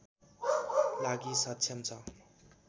लागि सक्षम छ